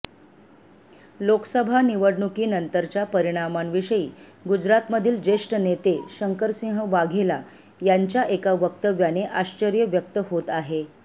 लोकसभा निवडणुकीनंतरच्या परिणामांविषयी गुजरातमधील ज्येष्ठ नेते शंकरसिंह वाघेला यांच्या एका वक्तव्याने आश्चर्य व्यक्त होत आहे